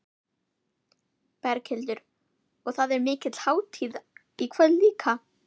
Berghildur: Og það er mikil hátíð í kvöld líka?